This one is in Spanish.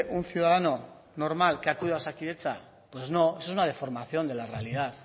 un ciudadano normal que acude a osakidetza pues no eso es una deformación de la realidad